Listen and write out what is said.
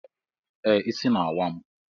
Ee, isi na-awa m.